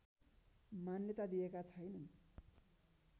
मान्यता दिएका छैनन्